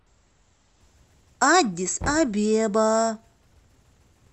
аддис абеба